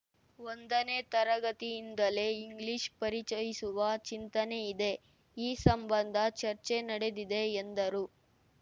ಒಂದನೇ ತರಗತಿಯಿಂದಲೇ ಇಂಗ್ಲೀಷ್‌ ಪರಿಚಯಿಸುವ ಚಿಂತನೆಯಿದೆ ಈ ಸಂಬಂಧ ಚರ್ಚೆ ನಡೆದಿದೆ ಎಂದರು